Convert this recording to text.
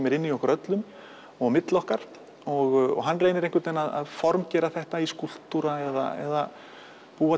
eru inn í okkur öllum og á milli okkar og hann reynir að formgera þetta í skúlptúra eða búa